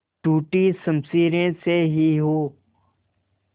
टूटी शमशीरें से ही हो